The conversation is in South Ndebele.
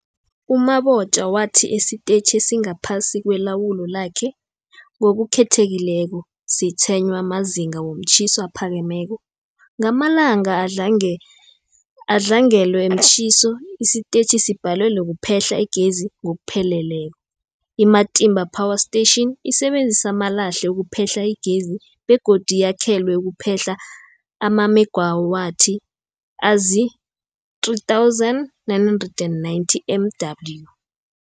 U-Mabotja wathi isitetjhi esingaphasi kwelawulo lakhe, ngokukhethekileko, sitshwenywa mazinga womtjhiso aphakemeko. Ngamalanga adlangelwe mtjhiso, isitetjhi sibhalelwa kuphehla igezi ngokupheleleko. I-Matimba Power Station isebenzisa amalahle ukuphehla igezi begodu yakhelwe ukuphehla amamegawathi azii-3990 MW.